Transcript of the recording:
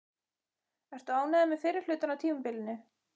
Ertu ánægður með fyrri hlutann á tímabilinu?